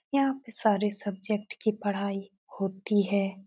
यहाँ पर सारे सब्जेक्ट की पढ़ाई होती है।